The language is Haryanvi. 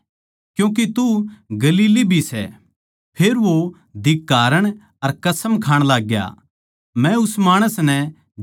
फेर वो धिक्कारण अर कसम खाण लाग्या मै उस माणस नै जिसका थम जिक्रा करो सो कोनी जाण्दा